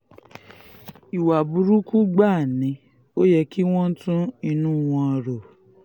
ìwà burúkú gbáà ni ò yẹ kí wọ́n tún inú wọn rò